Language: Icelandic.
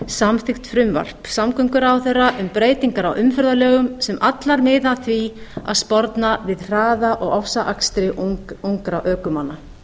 samþykkt frumvarp samgönguráðherra um breytingar á umferðarlögum sem allar miða að því að sporna við hraða og ofsaakstri ungra ökumanna